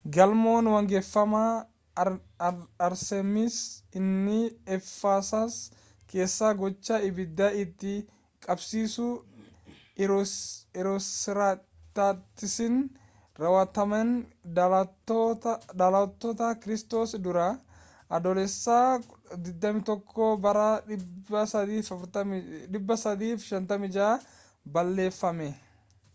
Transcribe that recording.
gamoon waaqeffannaa arxeemis inni efesas keessaa gocha ibidda itti qabsiisuu heeroosxiraatasiin raawwatameen dhaloota kiristoos dura adoolessa 21 bara 356 balleeffame